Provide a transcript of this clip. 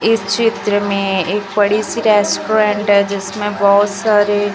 इस चित्र में एक बड़ी सी रेस्टोरेंट है जिसमें बहोत सारी--